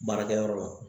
Baarakɛyɔrɔ la